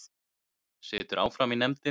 Situr áfram í nefndinni